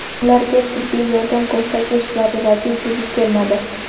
Ularga tibbiy yordam ko‘rsatish zarurati yuzaga kelmadi.